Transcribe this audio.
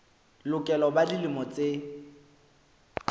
lokela ho ba dilemo tse